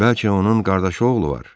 Bəlkə onun qardaşı oğlu var?